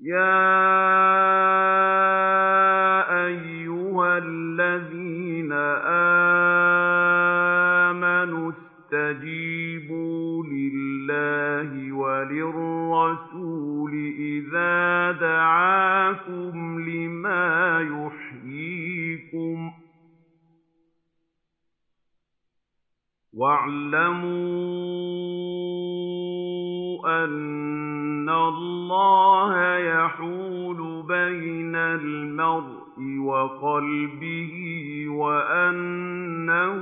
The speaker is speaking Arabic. يَا أَيُّهَا الَّذِينَ آمَنُوا اسْتَجِيبُوا لِلَّهِ وَلِلرَّسُولِ إِذَا دَعَاكُمْ لِمَا يُحْيِيكُمْ ۖ وَاعْلَمُوا أَنَّ اللَّهَ يَحُولُ بَيْنَ الْمَرْءِ وَقَلْبِهِ وَأَنَّهُ